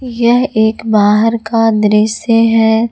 यह एक बाहर का दृश्य है।